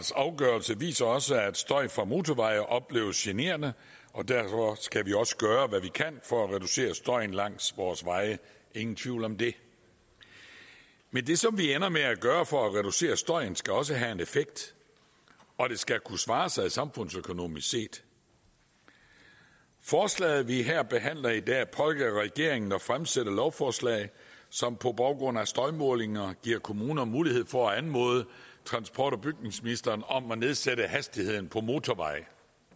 afgørelse viser også at støj fra motorveje opleves generende og derfor skal vi også gøre hvad vi kan for at reducere støjen langs vores veje ingen tvivl om det men det som vi ender med at gøre for at reducere støjen skal også have en effekt og det skal kunne svare sig samfundsøkonomisk set forslaget vi her behandler i dag pålægger regeringen at fremsætte lovforslag som på baggrund af støjmålinger giver kommuner mulighed for at anmode transport og bygningsministeren om at nedsætte hastigheden på motorveje